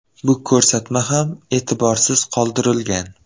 Bu ko‘rsatma ham e’tiborsiz qoldirilgan.